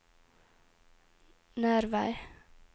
Nervei